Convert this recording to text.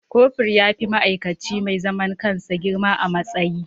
Kofur ya fi ma'aikaci mai zaman kansa girma a matsayi.